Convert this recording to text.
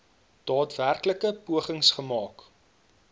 daadwerklike pogings gemaak